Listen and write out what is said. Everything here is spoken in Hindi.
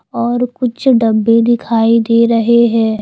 और कुछ डब्बे दिखाई दे रहे हैं।